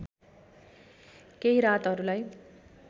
केही रातहरूलाई